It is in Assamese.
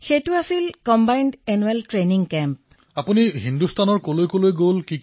প্ৰধানমন্ত্ৰীঃ নাগালেণ্ডৰ আপোনাৰ সকলো সহযোগীয়ে জানিবলৈ বিচাৰে আপুনি হিন্দুস্তানৰ কলৈ কলৈ গৈছে